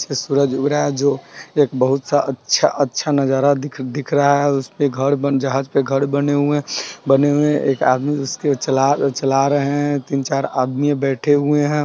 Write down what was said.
सूरज उग रहा है जो एक बहुत सा अच्छा-अच्छा नजारा दिख रहा हैं उस पे घर बन जहाज पे घर बने हुए हैं बने हुए हैं एक आदमी उसको चला चला रहे हैं तीन-चार आदमी बैठे हुए हैं।